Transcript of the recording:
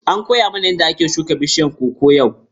An koya mana yadda ake shuka bishiyar koko yau.